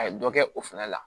A ye dɔ kɛ o fɛnɛ la